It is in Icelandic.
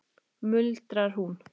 muldrar hún.